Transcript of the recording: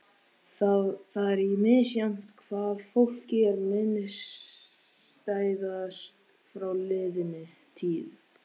Það er misjafnt hvað fólki er minnisstæðast frá liðinni tíð.